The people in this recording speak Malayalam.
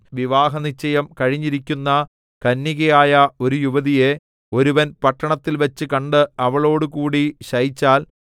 വിവാഹനിശ്ചയം കഴിഞ്ഞിരിക്കുന്ന കന്യകയായ ഒരു യുവതിയെ ഒരുവൻ പട്ടണത്തിൽവച്ചു കണ്ട് അവളോടുകൂടി ശയിച്ചാൽ